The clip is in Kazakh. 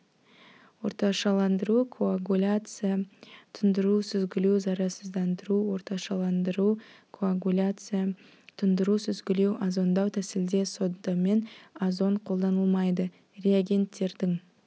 орташаландыру коагуляция тұндыру сүзгілеу зарарсыздандыру орташаландыру коагуляция тұндыру сүзгілеу озондау тәсілде сода мен озон қолданылмайды реагентьттердің